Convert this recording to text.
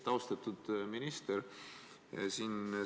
Austatud minister!